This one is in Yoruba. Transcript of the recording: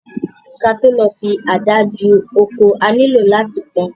Kí a tó lè fi ada ju oko, a ní lò láti pọn